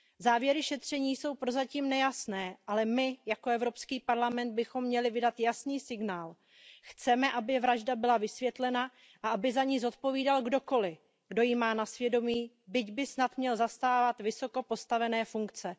Závěry šetření jsou prozatím nejasné, ale my jako Evropský parlament bychom měli vydat jasný signál, že chceme, aby vražda byla vysvětlena a aby za ni zodpovídal kdokoli, kdo ji má na svědomí, byť by snad měl zastávat vysoko postavené funkce.